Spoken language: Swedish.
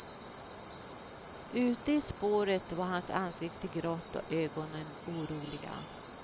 Ute i spåret var hans ansikte grått och ögonen oroliga.